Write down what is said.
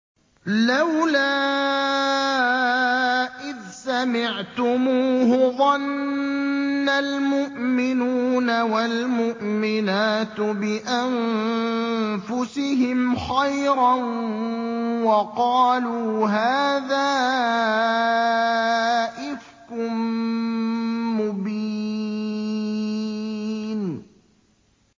لَّوْلَا إِذْ سَمِعْتُمُوهُ ظَنَّ الْمُؤْمِنُونَ وَالْمُؤْمِنَاتُ بِأَنفُسِهِمْ خَيْرًا وَقَالُوا هَٰذَا إِفْكٌ مُّبِينٌ